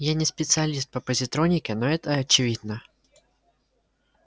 я не специалист по позитронике но это очевидно